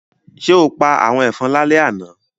Ṣé o pa àwọn ẹ̀fọn lálẹ́ àná?